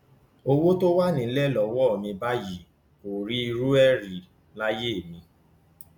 owó tó wà nílẹ lọwọ mi báyìí n kò rí irú ẹ rí láyé mi